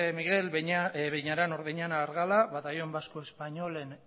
miguel beñaran ordeñana argala batallón vasco españolen